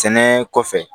Sɛnɛ kɔfɛ